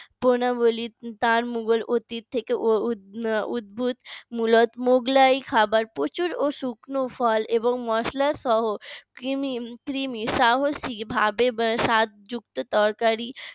গুনাবলী তার মোগল অতীত থেকে উদ্বুদ্ধ মোগলাই খাবার প্রচুর ও শুকনো ফল এবং মসলা সহ তিনি সাহসী ভাবে স্বাদযুক্ত তরকারি